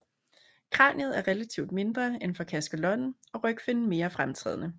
Kraniet er relativt mindre end for kaskelotten og rygfinnen mere fremtrædende